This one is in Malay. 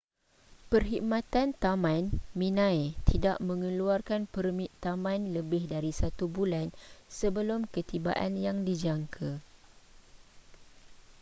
perkhidmatan taman minae tidak mengeluarkan permit taman lebih dari satu bulan sebelum ketibaan yang dijangka